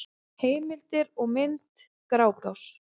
Heimildir og mynd: Grágás.